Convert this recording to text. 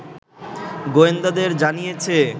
গোয়েন্দাদের জানিয়েছে